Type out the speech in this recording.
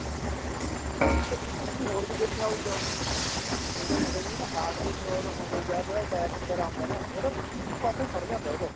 sir ਇੱਕ ਤੁਸੀਂ ਹੋਰ ਵੀ ਦੇਖਿਆ ਹੋਉਗਾ ਜਿਹਦੇ ਮਤਲਬ heart ਦੀ problem ਹੋਵੇ ਜਾਂ ਫ਼ਿਰ attack ਵਗੈਰਾ ਹੁੰਦਾ ਏ ਉਹਦਾ ਇੱਕ ਪਾਸਾ ਹੀ ਖੜ ਜਾਂਦਾ ਉਹਦਾ